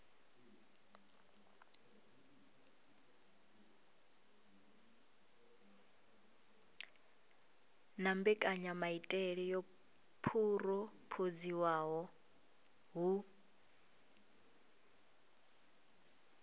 na mbekanyamaitele yo phurophoziwaho hu